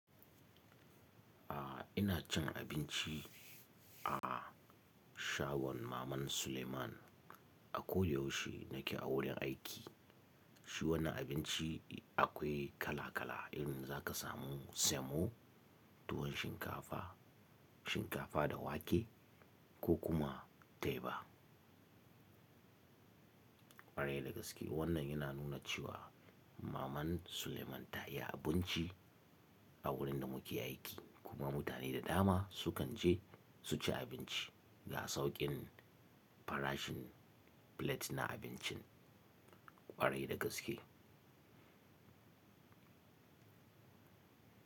A'a ina cin abinci a shagon maman Suleiman a ko yaushe nake a wurin aiki. Shi wannan abinci akwai kala kala in zaka samu semo, tuwon shinkafa, shinkafa da wake ko kuma teba. Kwarai da gaske wannan yana nuna cewa maman Suleiman ta yi abunci a wurin da muke aiki kuma mutane da dama sukan je su ci abinci ga sauƙin farashin plate na abincin kwarai da gaske.